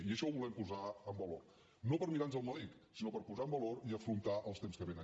i això ho volem posar en valor no per mirar nos el melic sinó per posar en valor i afrontar els temps que vénen